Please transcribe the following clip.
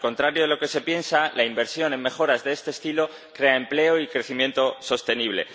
Al contrario de lo que se piensa, la inversión en mejoras de este estilo crea empleo y crecimiento sostenible.